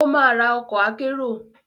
Ó máa ra ọkọ̀ akérò.